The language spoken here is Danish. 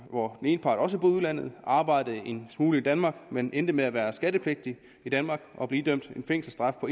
hvor den ene part også boede i udlandet og arbejdede en smule i danmark men endte med at være skattepligtig i danmark og blive idømt en fængselsstraf på